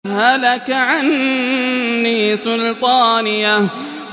هَلَكَ عَنِّي سُلْطَانِيَهْ